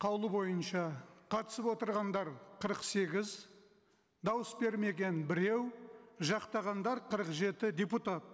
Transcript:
қаулы бойынша қатысып отырғандар қырық сегіз дауыс бермеген біреу жақтағандар қырық жеті депутат